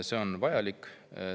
See on vajalik.